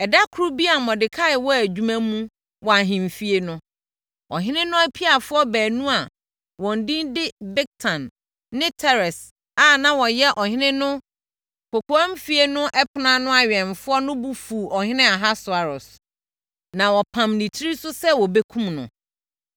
Ɛda koro bi a Mordekai wɔ adwuma mu wɔ ahemfie no, ɔhene no apiafoɔ baanu a wɔn din de Bigtan ne Teres a na wɔyɛ ɔhene no kɔkoamfie no ɛpono ano awɛmfoɔ no bo fuu ɔhene Ahasweros, na wɔpamm ne tiri so sɛ wɔbɛkum no.